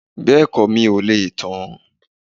Bẹ́ẹ̀kọ́ mi ò lè tàn án